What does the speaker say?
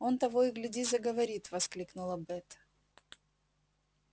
он того и гляди заговорит воскликнула бэт